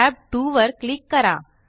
tab 2 वर click करा